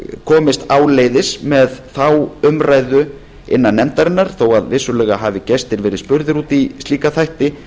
komist áleiðis með þá umræðu innan nefndarinnar þó að vissulega hafi gestir verið spurðir út í slíka þætti